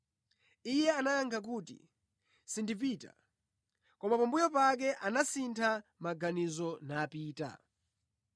“Iye anayankha kuti, ‘Sindipita,’ koma pambuyo pake anasintha maganizo napita.